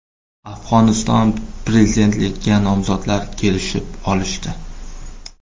Afg‘oniston prezidentligiga nomzodlar kelishib olishdi.